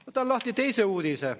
Võtan lahti teise uudise.